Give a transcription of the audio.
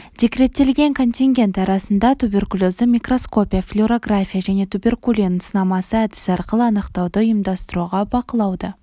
декреттелген контингент арасында туберкулезді микроскопия флюорография және туберкулин сынамасы әдісі арқылы анықтауды ұйымдастыруға бақылауды